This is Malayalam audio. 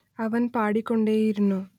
അവൻ പാടിക്കൊണ്ടേയിരുന്നു